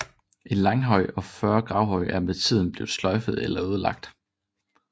En langhøj og 40 gravhøje er med tiden blevet sløjfet eller ødelagt